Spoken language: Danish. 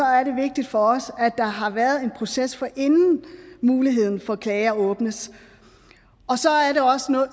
er det vigtigt for os at der har været en proces inden muligheden for klager åbnes